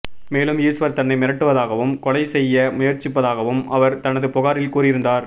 மேலும் ஈஸ்வர் தன்னை மிரட்டுவதாகவும் கொலை செய்ய முயற்சிப்பதாகவும் அவர் தனது புகாரில் கூறியிருந்தார்